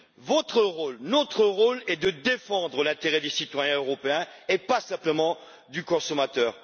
Votre rôle notre rôle est de défendre l'intérêt des citoyens européens, et pas simplement celui du consommateur.